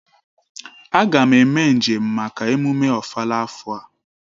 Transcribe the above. Aga m eme njem maka emume ofala afo a